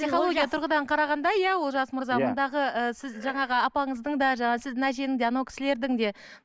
психология тұрғыдан қарағанда иә олжас мырза мұндағы ы сіз жаңағы апаңыздың да жаңағы сіздің әжеңіз де сіз анау кісілердің де